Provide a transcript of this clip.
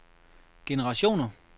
generationer